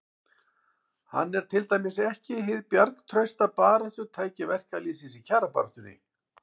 Hann er til dæmis ekki hið bjargtrausta baráttutæki verkalýðsins í kjarabaráttunni.